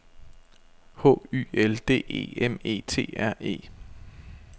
H Y L D E M E T R E